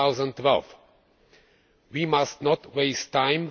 2012. We must not waste time